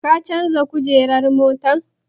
Ka canja kujerar motar?